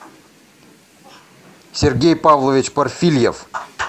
сергей павлович парфильев